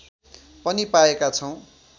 पनि पाएका छौँ